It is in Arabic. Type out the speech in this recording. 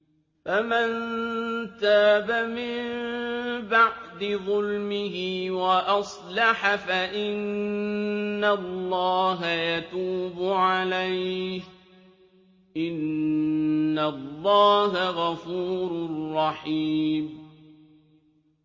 فَمَن تَابَ مِن بَعْدِ ظُلْمِهِ وَأَصْلَحَ فَإِنَّ اللَّهَ يَتُوبُ عَلَيْهِ ۗ إِنَّ اللَّهَ غَفُورٌ رَّحِيمٌ